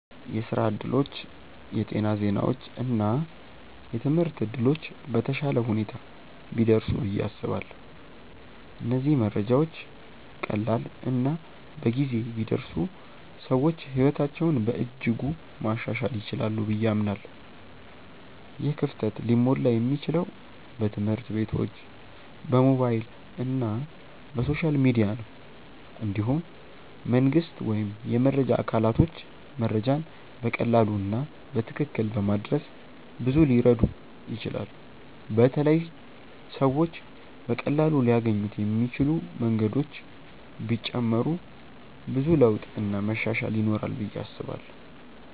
የስራ እድሎች፣ የጤና ዜናዎች እና የትምህርት እድሎች በተሻለ ሁኔታ ቢደርሱ ብዬ አስባለሁ። እነዚህ መረጃዎች ቀላል እና በጊዜ ቢደርሱ ሰዎች ሕይወታቸውን በእጅጉ ማሻሻል ይችላሉ ብዬ አምናለሁ። ይህ ክፍተት ሊሞላ የሚችለው በትምህርት ቤቶች፣ በሞባይል እና በሶሻል ሚዲያ ነው። እንዲሁም መንግስት ወይም የመረጃ አካላቶች መረጃን በቀላሉ እና በትክክል በማድረስ ብዙ ሊረዱ ይችላሉ በተለይ ሰዎች በቀላሉ ሊያገኙት የሚችሉ መንገዶች ቢጨመሩ ብዙ ለውጥ እና መሻሻል ይኖራል ብዬ አስባለው።